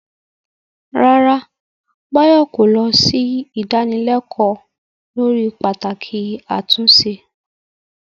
Rárá, Bayo kò lọ sí ìdánilẹ́kọ̀ọ́ lórí pàtàkì àtúnṣe.